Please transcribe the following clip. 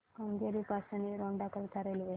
केंगेरी पासून एरोड करीता रेल्वे